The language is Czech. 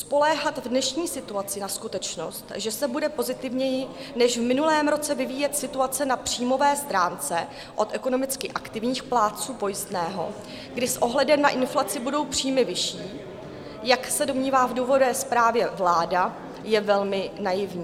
Spoléhat v dnešní situaci na skutečnost, že se bude pozitivněji než v minulém roce vyvíjet situace na příjmové stránce od ekonomicky aktivních plátců pojistného, kdy s ohledem na inflaci budou příjmy vyšší, jak se domnívá v důvodové zprávě vláda, je velmi naivní.